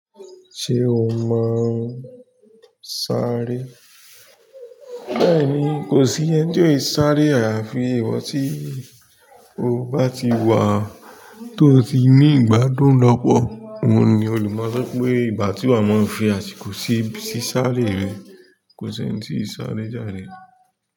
Ṣé o máa ń sáré? Bẹ́ẹ̀ni, kò sí ẹ́ńi tò é sáré àyàfi ìwọ tí o bá ti wà tó ti ní ìgbádùn lọ́pọ̀. Òhun ni o lè mọ̀ pé ìbà tí à ń fi àsìkò sí sísáré rẹ̀ kò sí ẹ́ńtì kìí sáré jàre.